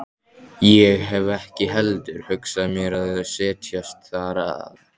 Ég hef ekki heldur hugsað mér að setjast þar að.